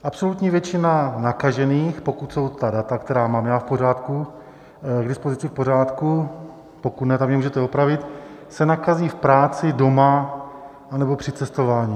Absolutní většina nakažených, pokud jsou ta data, která mám já k dispozici, v pořádku, pokud ne, tak mě můžete opravit, se nakazí v práci, doma anebo při cestování.